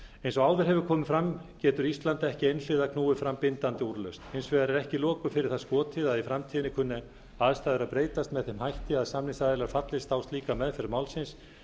eins og áður hefur komið fram getur ísland ekki einhliða knúið fram bindandi úrlausn hins vegar er ekki loku fyrir það skotið að í framtíðinni kunni aðstæður að breytast með þeim hætti að samningsaðilar fallist á slíka meðferð málsins